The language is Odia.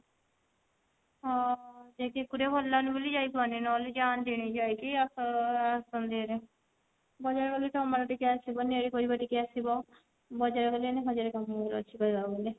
ହଁ ଏକେ ରେ ଏକୁଟିଆ ଭଲ ଲାଗୁନି ବୋଲି ଯାଇପାରୁନି ନହେଲେ ଯାଆନ୍ତିଣୀ ଯାଇକି ଆସ ଆସନ୍ତିଣୀ ଗଲାବେଳକୁ ତମେ ମାନେ ଟିକେ ଆସିବନି ଟିକେ ଆସିବ ବଜାରକୁ ଗଲେ ଏଇନା ହଜାରେ କାମ ଗୁଡା ଅଛି କହିବାକୁ ଗଲେ